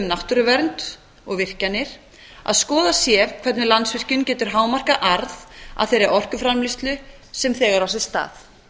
náttúruvernd og virkjanir að skoðað sé hvernig landsvirkjun getur hámarkað arð af þeirri orkuframleiðslu sem þegar á sér stað